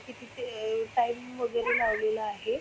की तिथे अह टाईम वगैरे लावलेला आहे.